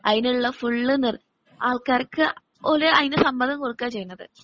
അതിനുള്ള ഫുൾ നിർ ആൾക്കാർക്ക് ഓര് അതിനു സമ്മതം കൊടുക്കുകയാ ചെയ്യുന്നത്.